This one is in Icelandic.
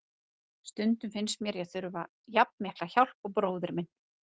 Stundum finnst mér ég þurfa jafn mikla hjálp og bróðir minn.